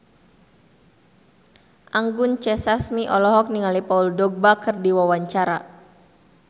Anggun C. Sasmi olohok ningali Paul Dogba keur diwawancara